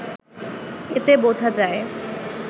এতে বোঝা যায়